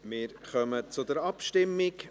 Wir kommen zur Abstimmung.